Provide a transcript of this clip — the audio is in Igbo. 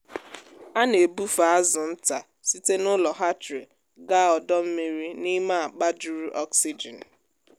a na-ebufe azụ nta site n’ụlọ hatchery gaa ọdọ mmiri n’ime akpa juru oxygen.